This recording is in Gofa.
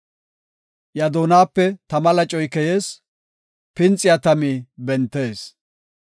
Iya doonape tama lacoy keyees; pinxiya tami bentees.